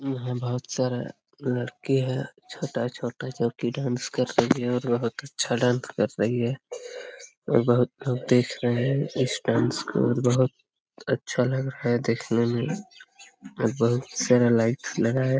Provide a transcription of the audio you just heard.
यहाँ बहोत सारा लड़की हैं छोटा-छोटा जो की डांस कर रही हैं और बहोत अच्छा डांस कर रही हैं और बहोत लोग देख रहे हैं इस डांस को और बहोत अच्छा लग रहा है देखने में और बहोत सारा लाइट लगा है।